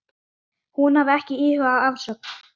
Hún hafi ekki íhugað afsögn.